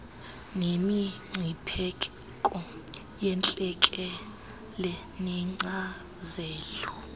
nemingcipheko yentlekele neenkcazelo